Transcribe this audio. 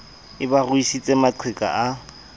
e ba ruisitse maqheka a